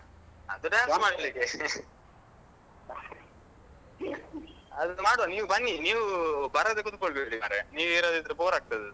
ಹ ಅದು dance ಮಾಡ್ಲಿಕೆ ಮಾಡುವ ನೀವ್ ಬನ್ನಿ ನೀವ್ ಬರದೆ ಕುತ್ಕೊಳ್ಬೇಡಿ ಮಾರಾಯ ನೀವು ಇರದಿದ್ರೆ bore.